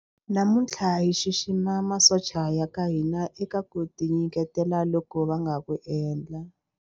Namuntlha hi xixima masocha ya ka hina eka ku tinyiketela loku va nga ku endla.